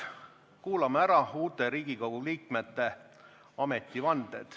Kuulame ära uute Riigikogu liikmete ametivande.